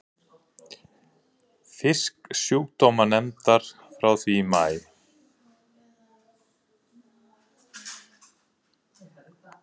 Fisksjúkdómanefndar frá því í maí.